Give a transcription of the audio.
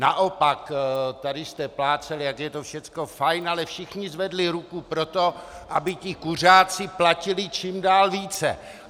Naopak, tady jste plácali, jak je to všecko fajn, ale všichni zvedli ruku pro to, aby ti kuřáci platili čím dál více.